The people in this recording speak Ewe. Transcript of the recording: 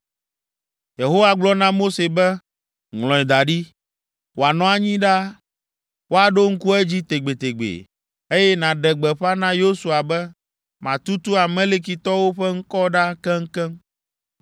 Yehowa gblɔ na Mose be, “Ŋlɔe da ɖi, wòanɔ anyi ɖaa, woaɖo ŋku edzi tegbetegbe, eye nàɖe gbeƒã na Yosua be matutu Amalekitɔwo ƒe ŋkɔ ɖa keŋkeŋ.”